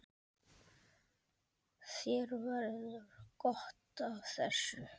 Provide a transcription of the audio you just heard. Þér verður gott af þessu